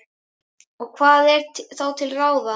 Og hvað er þá til ráða?